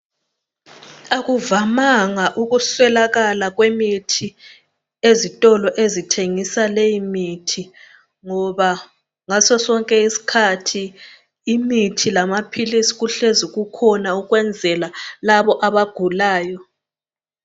Akuvanga ukuswelakala kwemithi ezitolo ezithengisa leyimithi ngoba ngasosonke isikhathi imithi lamaphilisi kuhlezi kukhona ukwenzela labo abagulayo.